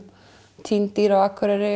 týnd dýr á Akureyri